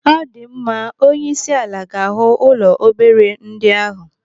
Ọdịmma! Onyeisiala ga-ahụ ụlọ obere ndị ahụ.